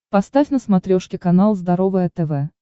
поставь на смотрешке канал здоровое тв